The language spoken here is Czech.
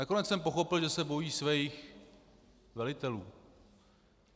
Nakonec jsem pochopil, že se bojí svých velitelů.